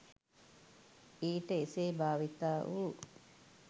ඊට එසේ භාවිතා වූ